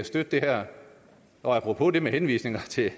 støtte det her og apropos henvisningerne til